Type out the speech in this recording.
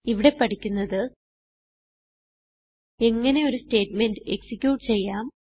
ഇവിടെ പഠിക്കുന്നത് എങ്ങനെ ഒരു സ്റ്റേറ്റ്മെന്റ് എക്സിക്യൂട്ട് ചെയ്യാം